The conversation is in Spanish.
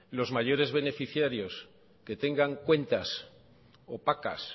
los mayores beneficiarios que tengan cuentas opacas